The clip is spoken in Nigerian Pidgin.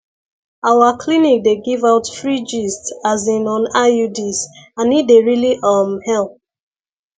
our clinic dey give out free gist asin on iuds and e dey really um help